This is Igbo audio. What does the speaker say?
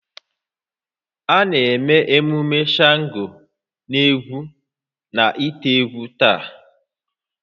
A na-eme emume Shango n'egwu na ite-egwu taa